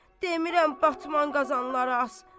Demirəm batman qazanları as.